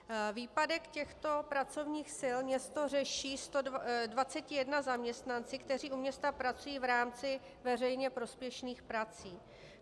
Výpadek těchto pracovních sil město řeší 21 zaměstnanci, kteří u města pracují v rámci veřejně prospěšných prací.